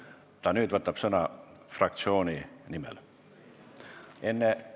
Sa nüüd võtad sõna fraktsiooni nimel, enne võtsid enda nimel.